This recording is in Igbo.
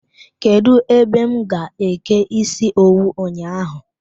Kedụ ebe m ga-eke ịsị owu ụnyaahụ?